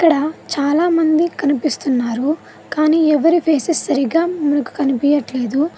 అక్కడ చాలామంది కనిపిస్తున్నారు కానీ ఎవరి ఫేస్ సరిగ్గా మనకు కనిపియట్లేదు.